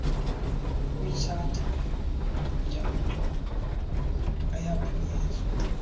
kwitshatha yamaxhoba ayaphunyezwa